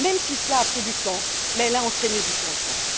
Même si cela pris du temps, elle a entraîné des changements.